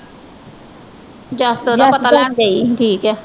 ਜਸ ਉਹਦਾ ਪਤਾ ਲੈਣ ਗਈ ਠੀਕ ਹੈ।